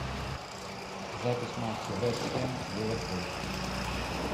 запись матча вест хэм ливерпуль